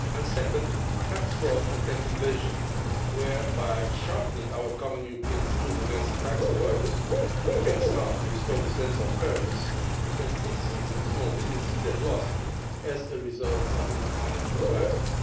Second, tax fraud and tax evasion, where by sharpening our common European tools against the tax avoiders we can start to restore the sense of fairness that citizens and small businesses have lost as a result of the financial crisis.